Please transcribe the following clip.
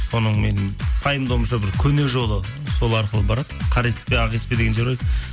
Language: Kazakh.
соның мен пайымдауымша бір көне жолы сол арқылы барады қареспе ақеспе деген жер бар